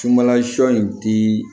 Sunbalasɔ in ti